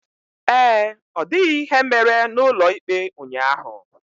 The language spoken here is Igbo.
Ee, ọ dịghị ihe mere n'ụlọ ikpe ụnyaahụ.